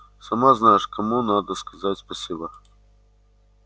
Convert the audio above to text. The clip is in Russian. сама знаешь кому надо сказать спасибо